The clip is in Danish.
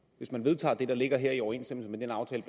hvis man vedtager det der ligger her i overensstemmelse med den aftale